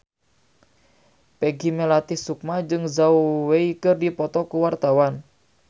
Peggy Melati Sukma jeung Zhao Wei keur dipoto ku wartawan